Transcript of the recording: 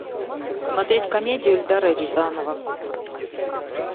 смотреть комедию эльдара рязанова